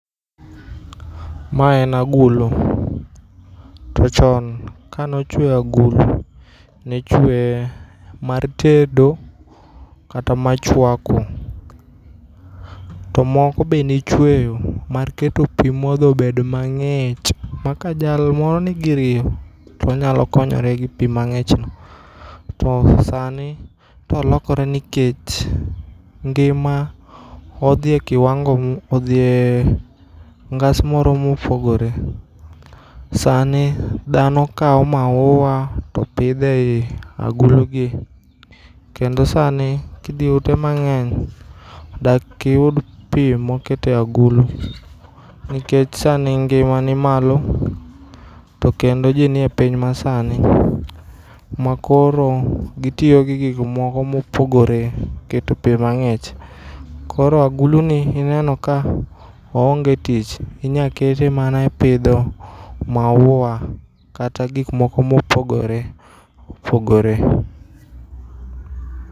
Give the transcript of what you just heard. Ma en agulu. To chon kanochue agulu nichuee mar tedo kata ma chwako to moko be nichueyo mar keto pii modho obed mang'ich makajalmoro nigi riyo tonyalokonyore gi pii mang'ichno. To sani to olokore nikech ngima odhi kiwango odhie ngas moro mopogore. Sani dhano kao maua to pidho ei agulugi kendo sani kidhie ute mang'eny dakiyud pii mokete agulu nikech sani ngima ni malo to kendo jii nie piny masani makoro gitiyo gi gikmoko mopogore keto pii mang'ich. Koro aguluni ineno ka oonge tich. Inyakete mana e pidho maua kata gikmoko mopogore opogore.